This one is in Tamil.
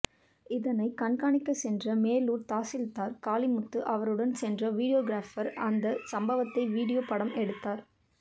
இதனை கண்காணிக்க சென்ற மேலூர் தாசில்தார் காளிமுத்து அவருடன் சென்ற வீடியோர் கிராபர் அந்த சம்பவத்தை வீடியோ படம் எடுத்தார்